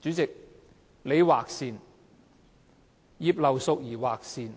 主席，你劃線，葉劉淑儀議員劃線，